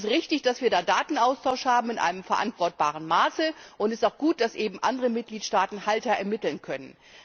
Es ist richtig, dass wir da Datenaustausch in einem verantwortbaren Maße haben, und es ist auch gut, dass auch andere Mitgliedstaaten Halter ermitteln können.